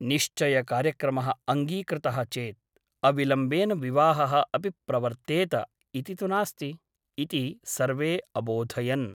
निश्चयकार्यक्रमः अङ्गीकृतः चेत् अविलम्बेन विवाहः अपि प्रवर्तेत इति तु नास्ति ' इति सर्वे अबोधयन् ।